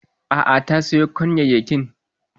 A'a ta soya kwanyayyakin.